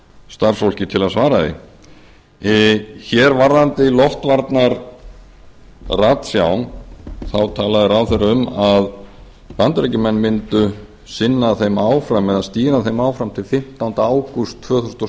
starfsfólki til að svara því varðandi loftvarnaratsjá þá talaði ráðherra um að bandaríkjamenn myndu sinna þeim áfram eða stýra þeim áfram til fimmtánda ágúst tvö þúsund og